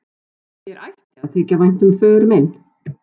Mér ætti að þykja vænt um föður minn.